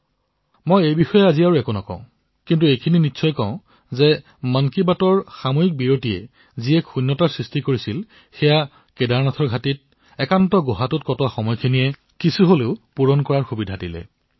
মই সেই কথা আজি নকও কিন্তু এয়া নিশ্চয়কৈ কম যে মন কী বাতৰ এই অল্পবিৰামৰ বাবে যি ৰিক্তভাৱ আছিল কেদাৰৰ ঘাটিত সেই একান্ত গুহাত ৰিক্তভাৱ কিছু কম কৰাৰ সুযোগ পাইছিলো